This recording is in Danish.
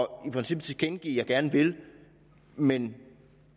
og i princippet tilkendegiver gerne vil men